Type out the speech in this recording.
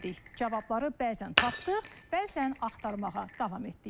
Cavabları bəzən tapdıq, bəzən axtarmağa davam etdik.